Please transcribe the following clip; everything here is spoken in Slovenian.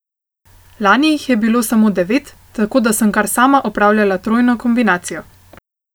Lani jih je bilo samo devet, tako da sem kar sama opravljala trojno kombinacijo.